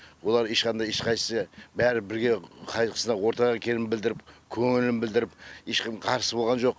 олар ешқандай ешқайсысы бәрі бірге қайғысына ортақ екенін білдіріп көңілін білдіріп ешкім қарсы болған жоқ